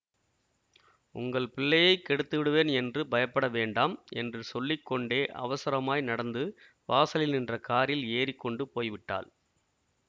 உங்கள் பிள்ளையை கெடுத்துவிடுவேன் என்று பயப்படவேண்டாம் என்று சொல்லி கொண்டே அவசரமாய் நடந்து வாசலில் நின்ற காரில் ஏறிக்கொண்டு போய்விட்டாள்